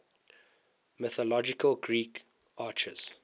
mythological greek archers